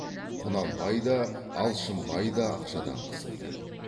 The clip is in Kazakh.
құнанбай да алшынбай да ақшадан қысылды